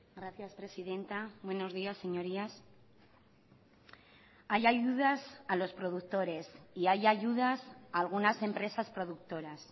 gracias presidenta buenos días señorías hay ayudas a los productores y hay ayudas a algunas empresas productoras